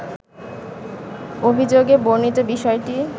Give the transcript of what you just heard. অভিযোগে বর্ণিত বিষয়টি